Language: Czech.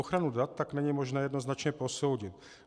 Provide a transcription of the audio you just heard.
Ochranu dat tak není možné jednoznačně posoudit.